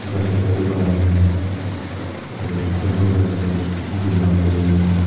ghas ekta bi banai na ase etu bamboo ghas tu green para paint kurikena.